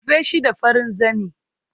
Rufe shi da farin zane